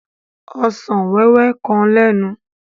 Ọsàn wẹ́wẹ́ kan lénu.